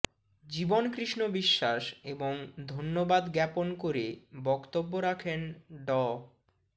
জীবন কৃষ্ণ বিশ্বাস এবং ধন্যবাদ জ্ঞাপন করে বক্তব্য রাখেন ড